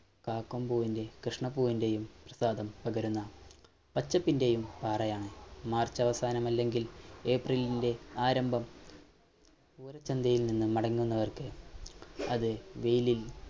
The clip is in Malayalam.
കാക്കമ്പുവിന്റെം കൃഷ്ണപ്പൂവിൻറെയും നുകരുന്ന പച്ചപ്പിൻറെയും പാറയാണ് March അവസാനമല്ലെങ്കിൽ April ൻറെ ആരംഭം പൂരച്ചന്തയിൽനിന്നും മടങ്ങുന്നവർക്ക് അത് വെയിലിൽ